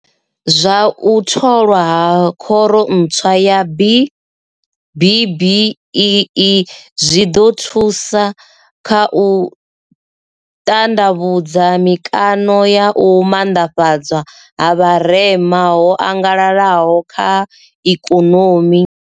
Zwa u tholwa ha khoro ntswa ya BBBEE zwi ḓo ri thusa kha u ṱanḓavhudza mikaṋo ya u maanḓafhadzwa ha vharema ho angalalaho kha ikonomi.